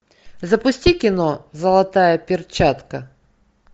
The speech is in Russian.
запусти кино золотая перчатка